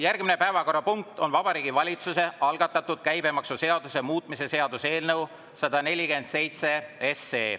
Järgmine päevakorrapunkt on Vabariigi Valitsuse algatatud käibemaksuseaduse muutmise seaduse eelnõu 147.